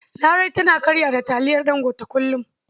Larai tana karya da taliyar Ɗangote kullum.